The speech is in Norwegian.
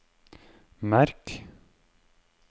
merk